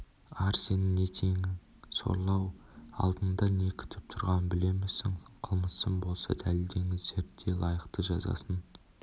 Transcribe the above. ар сенің не теңің сорлы-ау алдыңда не күтіп тұрғанын білемісің қылмысым болса дәлелдеңіздер де лайықты жазасын